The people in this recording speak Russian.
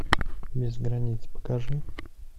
без границ покажи